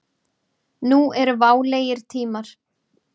Nú eru válegir tímar.